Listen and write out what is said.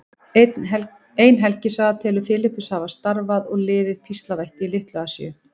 Ein helgisaga telur Filippus hafa starfað og liðið píslarvætti í Litlu-Asíu.